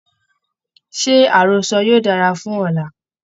Ṣé àrọ́sọ yóò dára fún ọ̀la?